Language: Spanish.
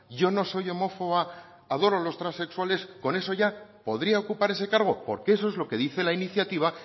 yo no soy homófoba adoro a los transexuales con eso ya podría ocupar ese cargo porque eso es lo que dice la iniciativa